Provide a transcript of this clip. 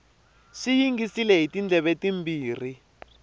swi yingisile hi tindleve timbirhi